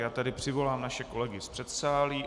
Já tedy přivolám naše kolegy z předsálí.